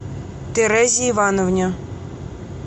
терезе ивановне